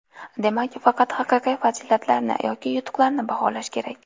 Demak – faqat haqiqiy fazilatlarni yoki yutuqlarni baholash kerak.